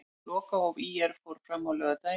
Lokahóf ÍR fór fram á laugardaginn.